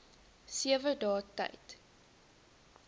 sewe dae tyd